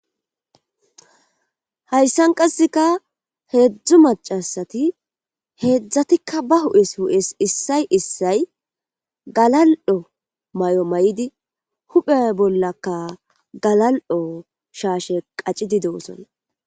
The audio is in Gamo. Haysan qaseka hedzu macasati hedzatika ba huphes issay issay galal'o mayo mayidi huphe bollaka galal'o sheshe qacidi dosona